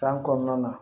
San kɔnɔna na